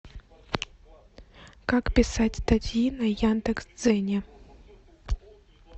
как писать статьи на яндекс дзене